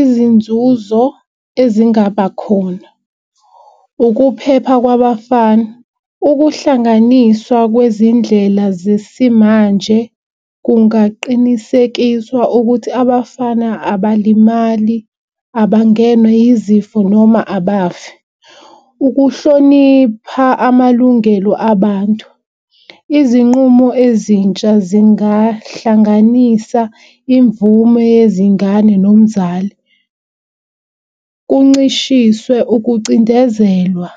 Izinzuzo ezingaba khona ukuphepha kwabafana. Ukuhlanganiswa kwezindlela zesimanje kungaqinisekiswa ukuthi abafana abalimali abangenwa izifo noma abafi. Ukuhlonipha amalungelo abantu izinqumo ezintsha zingahlanganisa imvume yezingane nomzali kuncishiswe ukucindezelwa.